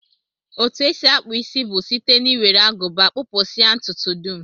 Etu e si akpụ isi bụ site n'iwere Agụba kpụpụsịa ntụtụ dum